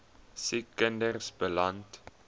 siek kinders beland